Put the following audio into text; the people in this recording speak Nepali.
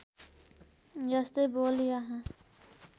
यस्तै बोल यहाँ